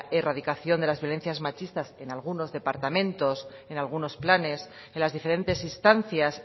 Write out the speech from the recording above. erradicación de las violencias machistas que en algunos departamentos en algunos planes en las diferentes instancias